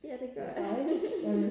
ja det gør jeg